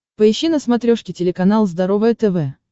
поищи на смотрешке телеканал здоровое тв